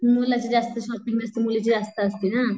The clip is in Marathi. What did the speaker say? मुलाची जास्त शॉपिंग नसती मुलीची जास्त असती ना.